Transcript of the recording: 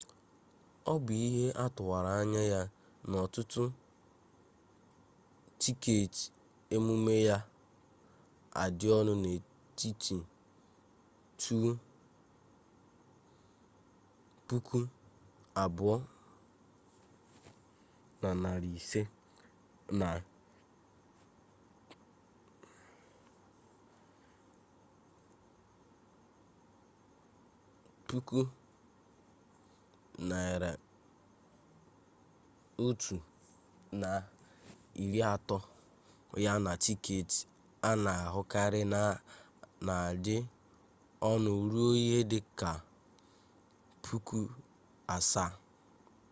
ọ bụ ihe atụwara anya ya na ọtụtụ tiketị emume ga-adị ọnụ n'etiti ¥2,500 na ¥130,000 ya na tiketị a na-ahụkarị na-adị ọnụ ruo ihe dị ka ¥7,000